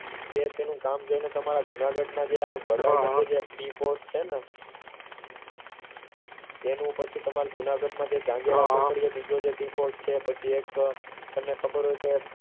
કે તેનું કામ જોઇને તમારા જુનાગઢના જે હમ જે tea pot છે ને તેનું પછી તમારા જૂનાગઢમાં જે બીજો tea pot છે એક અને પછી તમને એક ખબર હોય તો